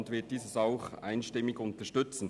Sie wird dieses einstimmig unterstützen.